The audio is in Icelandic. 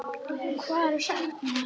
Hver sagði mér þetta?